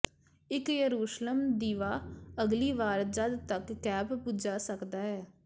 ਇੱਕ ਯਰੂਸ਼ਲਮ ਦੀਵਾ ਅਗਲੀ ਵਾਰ ਜਦ ਤੱਕ ਕੈਪ ਬੁਝਾ ਸਕਦਾ ਹੈ